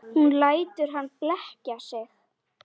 Hún lætur hann blekkja sig.